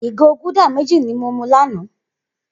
Igó gúdà méji ni mó mú lànã